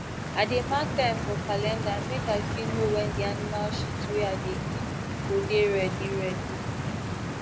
i dey mark time for calendar make i fit know when the animal shit wey i dey keep go dey ready ready